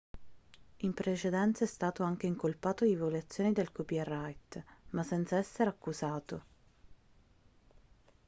in precedenza è stato anche incolpato di violazione del copyright ma senza essere accusato